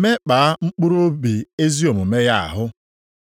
mekpaa mkpụrụobi ezi omume ya ahụ).